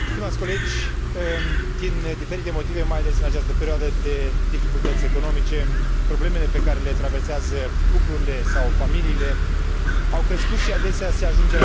Din diferite motive, mai ales în această perioadă de dificultăți economice, problemele pe care le traversează cuplurile sau familiile au crescut și, adesea, se ajunge la violență domestică.